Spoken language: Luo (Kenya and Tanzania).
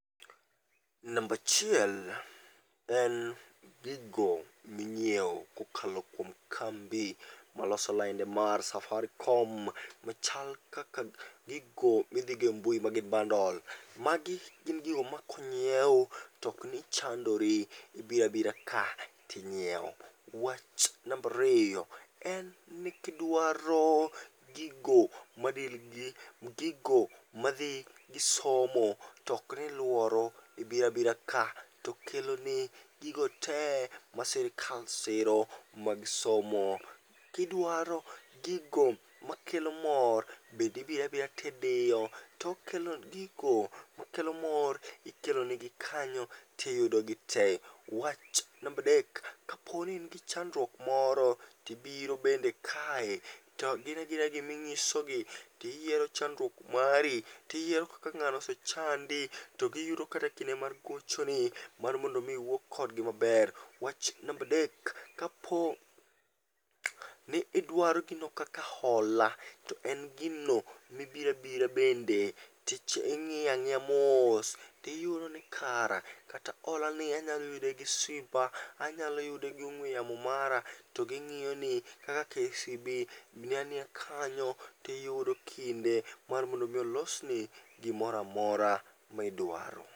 Nambachiel en gigo ming'iewo kokalo kuom kambi maloso lainde mar Safaricom machal kaka gigo midhigembui magi bandol. Magi gin gigo makonyiew tokni chandori, ibirabira ka tinyiewo. Wach nambariyo en ni kidwaro gigo madil gi gigo madhi gi somo tokniluoro, ibirabira ka tokeloni gigo te ma sirikal siro mag somo. Kidwaro gigo makelo mor, bendi birabira tidiyo tokelon gigo makelo mor ikelonigi kanyo tiyudogi te. Wach nambadek: kapini in gi chandruok moro tibiro bende kae to gin agina giming'isogi. Tiyiero chanduok mari, tiyiero kaka ng'ano osechandi togiyudo kate kinde mar gochoni mar mondomi iwuo kodgi maber. Wach nambadek: kapo ni idwaro gino kaka hola, to en gino mibirabira bende ting'iyang'iya mos tiyudo ni kara kata hola ni anyalo yude gi simba. Anyalo yude gi ong'we yamo mara, to ging'iyo ni kaka KCB ni aniya kanyo, tiyudo kinde mar mondo mi olosni gimoramora midwaro.